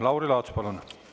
Lauri Laats, palun!